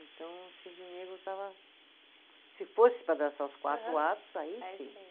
Então, o cisne negro estava. Se fosse para dançar os quatro atos, aí sim.